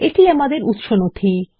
এটি আমাদের উৎস নথি